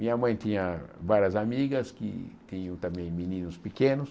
Minha mãe tinha várias amigas, que tinham também meninos pequenos,